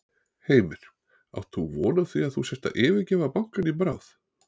Heimir: Átt þú von á því að þú sért að yfirgefa bankann í bráð?